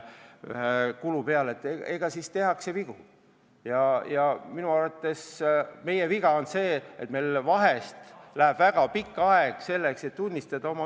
Ikka tehakse vigu ja minu arvates meie viga on see, et meil vahel kulub väga palju aega, et oma viga tunnistada.